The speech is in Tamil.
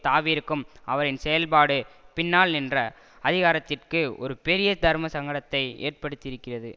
தாவி இருக்கும் அவரின் செயல்பாடு பின்னால் நின்ற அதிகாரத்திற்கு ஒரு பெரிய தர்மசங்கடத்தை ஏற்படுத்தி இருக்கிறது